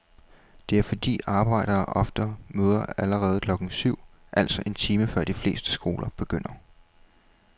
Det er fordi arbejdere ofte møder allerede klokken syv, altså en time før de fleste skoler begynder.